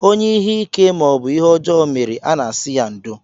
Onye ihe ike maọbụ ihe ọjọọ mere, a na-asị ya ndo